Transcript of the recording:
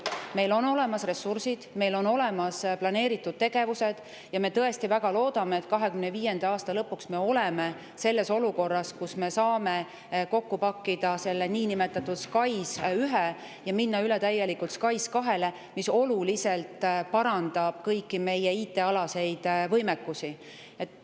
Meil on olemas ressursid, meil on olemas planeeritud tegevused ja me tõesti väga loodame, et 2025. aasta lõpuks me oleme olukorras, kus me saame kokku pakkida niinimetatud SKAIS1 ja minna täielikult üle SKAIS2‑le, mis oluliselt parandab kõiki meie IT‑alaseid võimekusi.